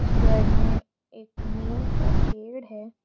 घर में एक नीम का पेड़ है।